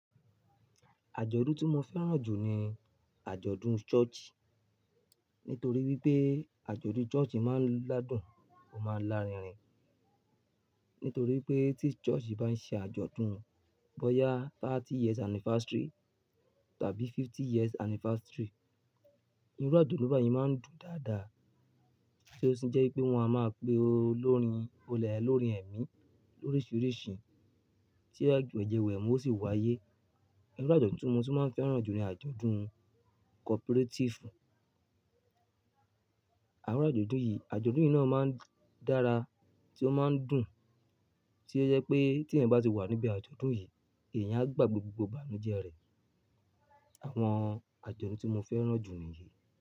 Àjọ̀dún tí mo fẹ́ràn jù ni àjọ̀dún ṣọ́ọ̀ṣì. Nítorí wípé àjọ̀dún ṣọ́ọ̀ṣì máa ń ládùn ó máa ń lárinrin. Nítorí pé tí ṣọ́ọ̀ṣì bá ń ṣe àjọ̀dún, bóyá thirty years anniversary tàbí fifty years anniversary, irú àjọ̀dún bá yẹn máa ń dùn dáadáa. Kí ó sì jẹ́ pé wọn a máa pe olórin, olè olórin ẹ̀mí, oríṣiríṣi tí ẹgbẹ́ ìjẹ́wẹ̀ẹ́ wọn sì wáyé. Irú àjọ̀dún tí mo tún máa ń fẹ́ràn jù ni àjọ̀dún cooperatifu. Àwọn àjọ̀dún yìí, àjọ̀dún yìí náà máa ń dára tí ó máa ń dùn, tí ó je pé tí ẹeyan bá ti wà níbí àjọ̀dún yìí èèyàn á gbàgbe gbogbo ìbànújẹ́ rẹ̀. Àwọn àjọ̀dún tí mo fẹ́ràn jù ni yìí.